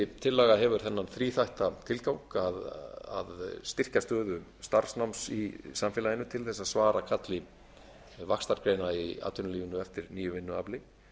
tillaga hefur þennan þríþætta tilgang að styrkja stöðu starfsnáms í samfélaginu til að svara kalli vaxtarspena í atvinnulífinu eftir nýju vinnuafli